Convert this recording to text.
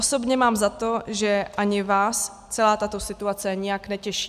Osobně mám za to, že ani vás celá tato situace nijak netěší.